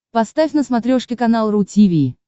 поставь на смотрешке канал ру ти ви